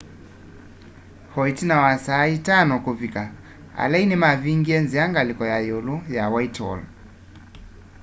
o ĩtina wa saa 11.00 kũvĩka alei nĩmavingie nzĩa ngalĩko ya yĩũlũ ya whitehall